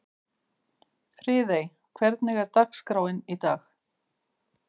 Friðey, hvernig er dagskráin í dag?